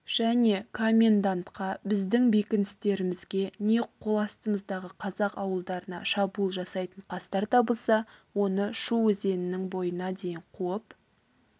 және комендантқа біздің бекіністерімізге не қол астымыздағы қазақ ауылдарына шабуыл жасайтын қастар табылса оны шу өзенінің бойына дейін қуып